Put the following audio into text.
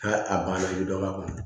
A a banna i bɛ dɔ bɔ a kɔnɔ